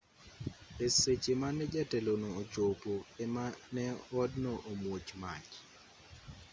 e seche mane jatelono ochopo ema ne odno omuoch mach